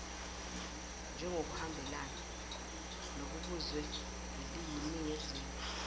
njengokuhambelana nokubuzwe eliyiningizimu